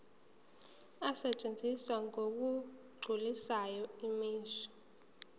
asetshenziswa ngokugculisayo imisho